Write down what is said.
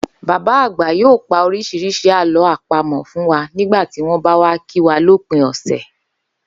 Bàbá àgbà yóò pa orís̩irís̩i àló̩ àpamò̩ fún wa nígbà tí wó̩n bá wá kí wa lópin ò̩sè̩